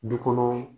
Du kɔnɔ